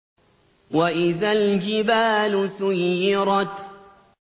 وَإِذَا الْجِبَالُ سُيِّرَتْ